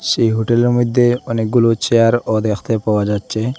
যে হোটেলের মধ্যে অনেকগুলো চেয়ারও দেখতে পাওয়া যাচ্ছে।